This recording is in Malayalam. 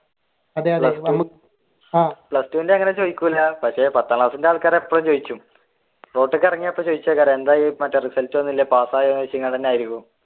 plus two ന്റെ അങ്ങനെ ചോദിക്കൂല പക്ഷെ പത്താം ക്ലാസ്സിന്റെ ആൾകാർ ഇപ്പോഴും ചോദിക്കും റോഡിലേക്ക് ഇറങ്ങിയാൽ എന്തായി മറ്റേ റിസൾട്ട് വന്നില്ലേ പാസ്സായോ